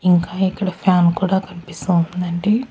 ఇంకా ఇక్కడ ఫ్యాన్ కూడా కనిపిస్తూ ఉందండి.